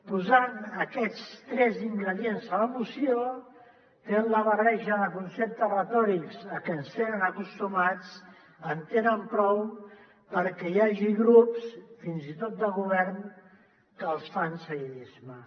posant aquests tres ingredients a la moció tenen la barreja de conceptes retòrics a què ens tenen acostumats en tenen prou perquè hi hagi grups fins i tot de govern que els fan seguidisme